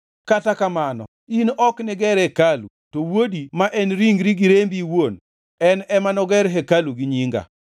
Kata kamano in ok niger hekalu, to wuodi, ma en ringri gi rembi iwuon; en ema noger hekalu ni Nyinga.’